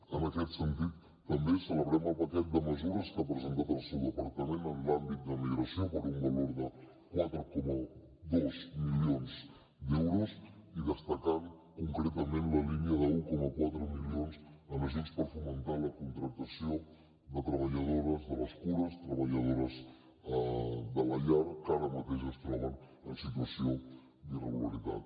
en aquest sentit també celebrem el paquet de mesures que ha presentat el seu departament en l’àmbit de migració per un valor de quatre coma dos milions d’euros i destacant concretament la línia d’un coma quatre milions en ajuts per fomentar la contractació de treballadores de les cures treballadores de la llar que ara mateix es troben en situació d’irregularitat